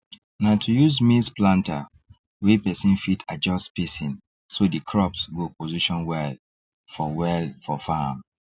na to use maize planter wey person fit adjust spacing so the crops go position well for well for farm